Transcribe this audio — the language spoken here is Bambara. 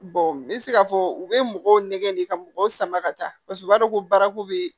n bɛ se k'a fɔ u bɛ mɔgɔw nɛgɛn de ka mɔgɔw sama ka taa paseke u b'a dɔn ko baaraku bɛ yen